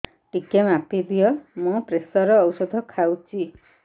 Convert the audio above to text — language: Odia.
ଟିକେ ମାପିଦିଅ ମୁଁ ପ୍ରେସର ଔଷଧ ଖାଉଚି